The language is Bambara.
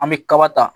An bɛ kaba ta